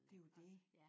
Det er jo det